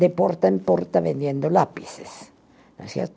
de porta em porta vendendo lápis, não é certo?